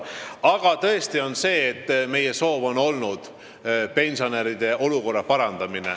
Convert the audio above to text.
Aga tõesti on meie soov olnud pensionäride olukorra parandamine.